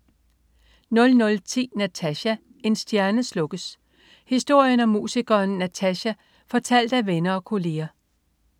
00.10 Natasja, en stjerne slukkes. Historien om musikeren Natasja fortalt af venner og kolleger